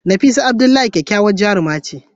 Nafisa Abdullahi kyakkyawar jaruma ce.